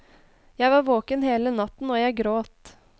Jeg var våken hele natten og jeg gråt.